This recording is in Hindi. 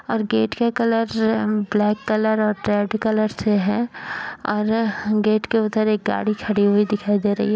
और गेट का कलर ब्लैक कलर और रेड कलर से है और गेट के उधर एक गाड़ी खड़ी हुई दिखाई दे रही है।